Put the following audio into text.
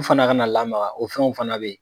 U fana kana lamaga, o fɛnw fana be ye.